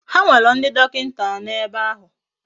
Ha nwere ndi dokinta ano ebe ahu.